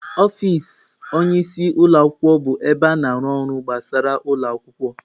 Ọfịs onye isi ụlọ akwụkwọ bụ ebe a na-arụ ọrụ gbasara ụlọ akwụkwọ.